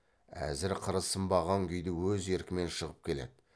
әзір қыры сынбаған күйде өз еркімен шығып келеді